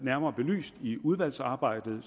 nærmere belyst i udvalgsarbejdet